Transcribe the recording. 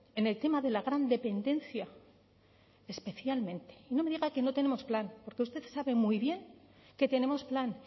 en el tema de la gran dependencia especialmente y no me diga que no tenemos plan porque usted sabe muy bien que tenemos plan